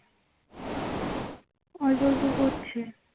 অল্প অল্প পড়ছে